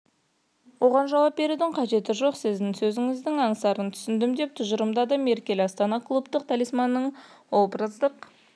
оған жауап берудің қажеті жоқ сіздің сөзіңіздің аңсарын түсіндім деп тұжырымдады меркель астана клубтық талисманның образдық